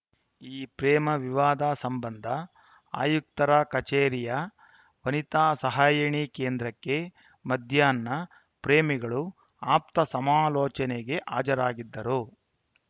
ಈ ಪ್ರೇಮ ವಿವಾದ ಸಂಬಂಧ ಆಯುಕ್ತರ ಕಚೇರಿಯ ವನಿತಾ ಸಹಾಯಣಿ ಕೇಂದ್ರಕ್ಕೆ ಮಧ್ಯಾಹ್ನ ಪ್ರೇಮಿಗಳು ಆಪ್ತ ಸಮಾಲೋಚನೆಗೆ ಹಾಜರಾಗಿದ್ದರು